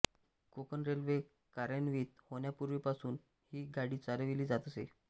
Konkan railway कार्यान्वित होण्यापूर्वीपासून ही गाडी चालविली जात असे